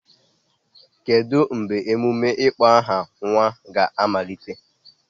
Kedu mgbe emume ịkpọ aha nwa ga-amalite?